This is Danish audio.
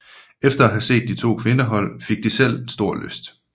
Efter at have set de to kvindehold spille fik de selv stor lyst